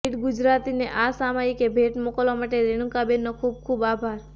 રીડગુજરાતીને આ સામાયિક ભેટ મોકલવા માટે રેણુકાબેનનો ખૂબ ખૂબ આભાર